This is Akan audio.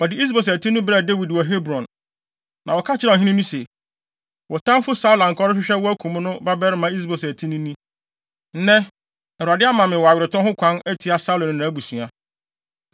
Wɔde Is-Boset ti no brɛɛ Dawid wɔ Hebron, na wɔka kyerɛɛ ɔhene no se, “Wo tamfo Saulo a anka ɔrehwehwɛ wo akum wo no babarima Is-Boset ti ni. Nnɛ, Awurade ama me wo aweretɔ ho kwan atia Saulo ne nʼabusua.”